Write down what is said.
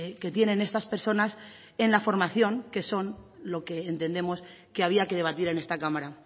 que tienen estas personas en la formación que son lo que entendemos que había que debatir en esta cámara